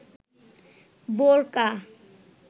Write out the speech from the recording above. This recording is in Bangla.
বোরকা